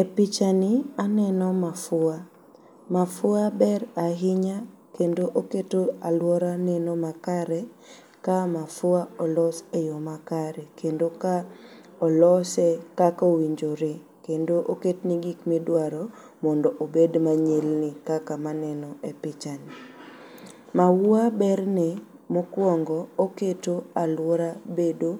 E pichani aneno mafua. Mafua ber ainya kendo oketo aluora neno makare ka mafua olos e yoo makare kendo ka olose kakowinjore kendo oketne gikmidwaro mondo obed manyilni kaka manenoe pichani. Maua berne mokuongo oketo aluora bedo